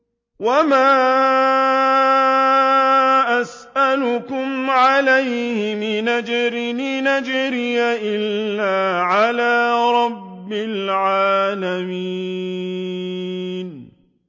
وَمَا أَسْأَلُكُمْ عَلَيْهِ مِنْ أَجْرٍ ۖ إِنْ أَجْرِيَ إِلَّا عَلَىٰ رَبِّ الْعَالَمِينَ